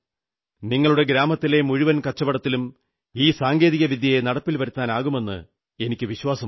നിങ്ങളുടെ ഗ്രാമത്തിലെ മുഴുവൻ കച്ചവടത്തിലും ഈ സാങ്കേതികവിദ്യ നടപ്പിൽ വരുത്താനാകുമെന്ന് എനിക്കു വിശ്വാസമുണ്ട്